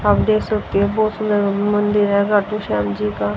आप देख सकते हैं बहोत सुंदर मंदिर है खाटू श्याम जी का।